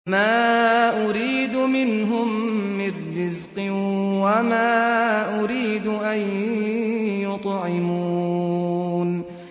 مَا أُرِيدُ مِنْهُم مِّن رِّزْقٍ وَمَا أُرِيدُ أَن يُطْعِمُونِ